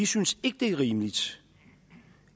synes det er rimeligt